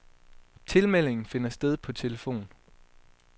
Tilmelding finder sted på telefon.